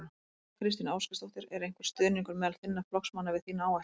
Þóra Kristín Ásgeirsdóttir: Er einhver stuðningur meðal þinna flokksmanna við þína áætlun?